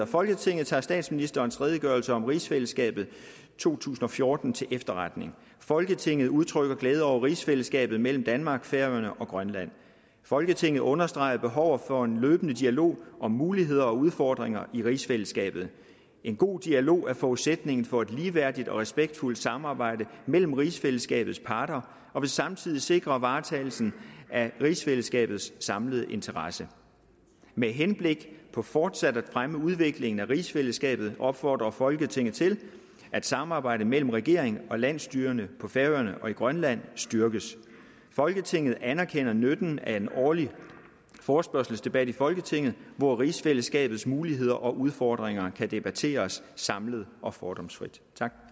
folketinget tager statsministerens redegørelse om rigsfællesskabet to tusind og fjorten til efterretning folketinget udtrykker glæde over rigsfællesskabet mellem danmark færøerne og grønland folketinget understreger behovet for en løbende dialog om muligheder og udfordringer i rigsfællesskabet en god dialog er forudsætningen for et ligeværdigt og respektfuldt samarbejde mellem rigsfællesskabets parter og vil samtidig sikre varetagelsen af rigsfællesskabets samlede interesser med henblik på fortsat at fremme udviklingen af rigsfællesskabet opfordrer folketinget til at samarbejdet mellem regeringen og landsstyrerne på færøerne og i grønland styrkes folketinget anerkender nytten af en årlig forespørgselsdebat i folketinget hvor rigsfællesskabets muligheder og udfordringer kan debatteres samlet og fordomsfrit